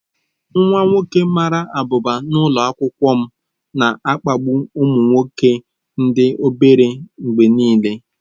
Nwa nwoke mara abụba nọ n'ụlọ akwụkwọ m na-akpagbu ụmụ nwoke ndị obere mgbe niile.